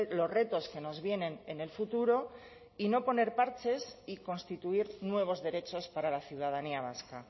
los retos que nos vienen en el futuro y no poner parches y constituir nuevos derechos para la ciudadanía vasca